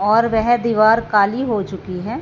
और वह दीवार काली हो चुकी है।